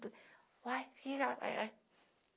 tudo. Uai